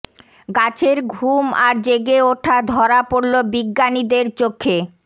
গাছের ঘুম আর জেগে ওঠা ধরা পড়লো বিজ্ঞানীদের চোখে